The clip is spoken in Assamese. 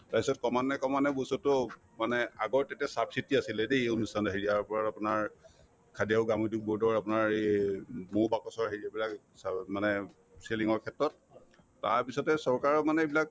তাৰপিছত ক্ৰমান্বয়ে ক্ৰমান্ৱয়ে বস্তুতো মানে আগৰ তেতিয়া subsidy আছিলে দেই এই অনুষ্ঠানত আহি ইয়াৰ ওপৰত আপোনাৰ খাদী আৰু গ্ৰামোদ্দ্যোগ board ৰ আপোনাৰ এই এই ম মৌ বাকচৰ হেৰি বিলাক মানে selling ৰ ক্ষেত্ৰত তাৰপিছতে চৰকাৰেও মানে এইবিলাক